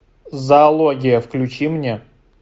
зоология включи мне